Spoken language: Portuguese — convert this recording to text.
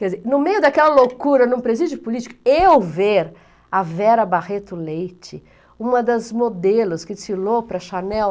Quer dizer, no meio daquela loucura, em um presídio político, eu ver a Vera Barreto Leite, uma das modelos que desfilou para a Channel...